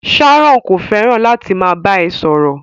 Sharon ko fẹràn láti máa bá ẹ sọ̀rọ̀.